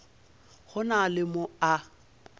go na le mo a